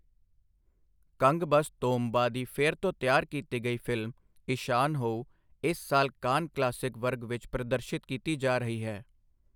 ਕੰਗਬਸ ਤੋਮਬਾ ਦੀ ਫਿਰ ਤੋਂ ਤਿਆਰ ਕੀਤੀ ਗਈ ਫਿਲਮ ਇਸ਼ਾਨਹੋਉ, ਇਸ ਸਾਲ ਕਾਨ ਕਲਾਸਿਕ ਵਰਗ ਵਿੱਚ ਪ੍ਰਦਰਸ਼ਿਤ ਕੀਤੀ ਜਾ ਰਹੀ ਹੈ।